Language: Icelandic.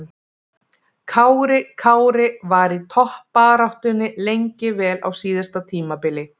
Kári Kári var í toppbaráttunni lengi vel á síðasta tímabili.